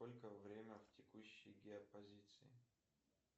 сколько время в текущей геопозиции